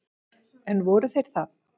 En voru þeir það?